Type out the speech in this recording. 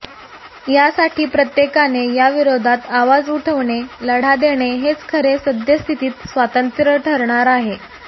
यासाठी प्रत्येकाने या विरोधात अवाज उठविणे लढा देणे हेच खरे सद्यस्थितीत स्वातंत्र्य ठरणार आहे